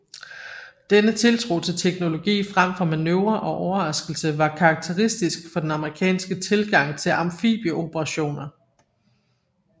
Denne tiltro til teknologi frem for manøvre og overraskelse var karakteristisk for den amerikanske tilgang til amfibieoperationer